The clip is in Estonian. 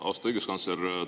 Austatud õiguskantsler!